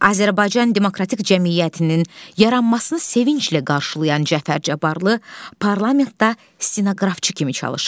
Azərbaycan Demokratik Cəmiyyətinin yaranmasını sevinclə qarşılayan Cəfər Cabbarlı, Parlamentdə stenoqrafçı kimi çalışır.